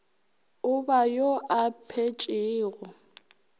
o ba yo a phetšego